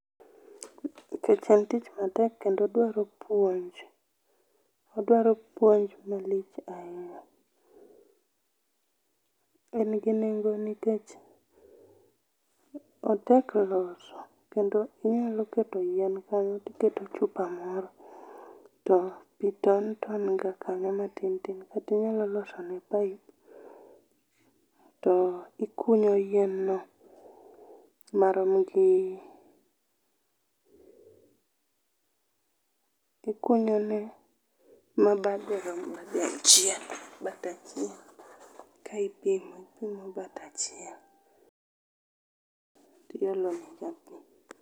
Nikech en tich matek kendo odwaro puonj, odwaro puonj malich ahinya. En gi nengo nikech otek loso kendo inyalo keto yien kanyo tiketo chupa moro to pii ton ton kanyo matin tin tin kata inyalo losone pipe to ikuonyo yien no maromo gi ,ikunyone mabade rom gi achiel, bathe achiel ka ipidhe ikunyo bathe achiel tiolo nega pii.